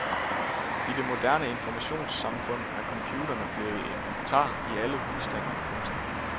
I det moderne informationssamfund er computerne blevet inventar i alle husstande. punktum